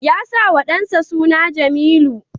Ya sa wa dansa suna Jamilu.